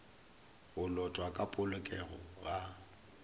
go lotwa ka polokego ga